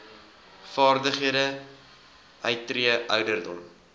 vaardighede uittree ouderdom